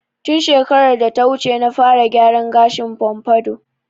Tun shekarar data wuce na fara gyaran gashin "pompadour"